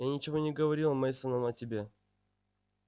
я ничего не говорил мейсонам о тебе